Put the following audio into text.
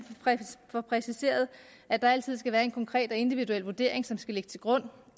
får præciseret at der altid skal være en konkret og individuel vurdering som skal ligge til grund